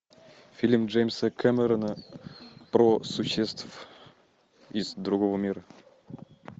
фильм джеймса кэмерона про существ из другого мира